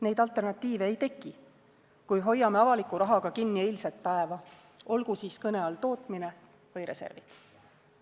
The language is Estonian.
Neid alternatiive ei teki, kui hoiame avaliku rahaga kinni eilset päeva, olgu siis kõne all tootmine või reservid.